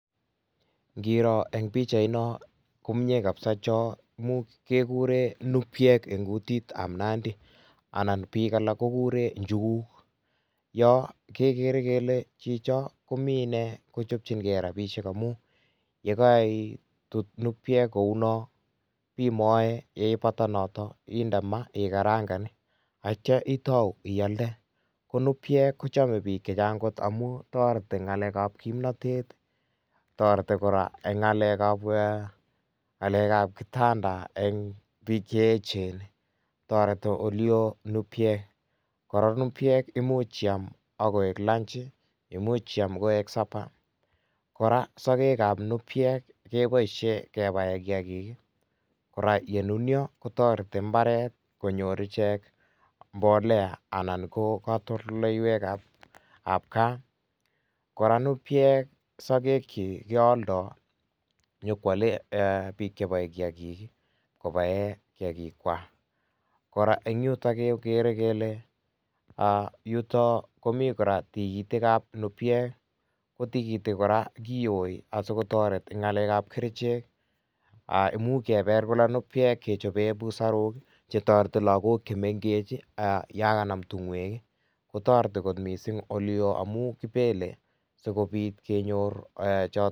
Ngiroo en pichait noon ko komyei kabisa choo kegureen numpiek en kutit ab Nandi, anan biik alaak ko kureen njuguug yaan kegere kele chichaat komii inei kochapchii gei rapisheek amuu ye kaitit numpiek kou noon ibee ngae, yeipata notoon indee maa ak ikarangaan ii ak yeityaa iatau ialda, ko numpiek ko chamei biik chechaang amuun taretii ngalek ab kimnatet, taretii kora, en ngalek ab kitanda eng biik che eecheen taretii ole wooh numpiek, kora numpiek imuuch iyaam akoek lunch ,imuuch iyaam koek supper, kora sakek ab numpiek ii kebaisheen kebaen kiagik ii kora ye nunia ko taretii mbaret ii konyoor icheek mbolea anan, anan ko katoltoleiweek ab gaah ,kora numpiek sageg kyiik keyaldaa, nyoon kwale biik kebaen kiagik kwaak ,kora en yutoon kegere kele yutoon komii kora tikitiik ab numpiek ii ,ko tikitiik kora kityoi asikotaret eng ngalek ab kercheek, imuuch kora kebeel numpiek kechapeen busaaruuk che taretii lagook che mengeechen yaan kanam tungoek ii kotaretii missing ole yoo amuu, kibele sikobiit kenyoor chotoon.